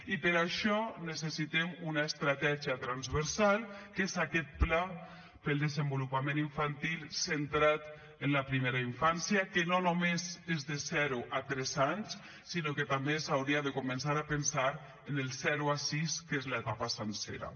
i per això necessitem una estratègia transversal que és aquest pla per al desenvolupament infantil centrat en la primera infància que no només és de zero a tres anys sinó que també s’hauria de començar a pensar en el zero a sis que és l’etapa sencera